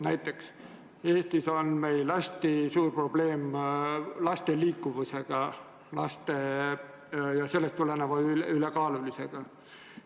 Näiteks on Eestis hästi suur probleem laste liikuvusega ja sellest tuleneva ülekaalulisusega.